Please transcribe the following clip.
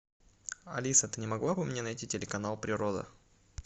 алиса ты не могла бы мне найти телеканал природа